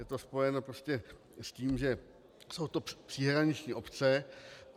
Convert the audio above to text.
Je to spojeno prostě s tím, že jsou to příhraniční obce.